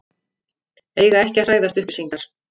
Eiga ekki að hræðast upplýsingar